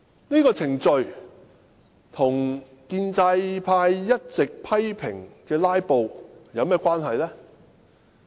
這程序與建制派一直批評的"拉布"有何關係？